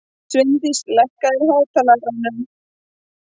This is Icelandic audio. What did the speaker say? Sveindís, lækkaðu í hátalaranum.